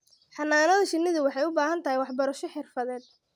Xannaanada shinnidu waxay u baahan tahay waxbarasho xirfadeed.